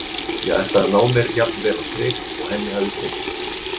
Ég ætlaði að ná mér jafn vel á strik og henni hafði tekist.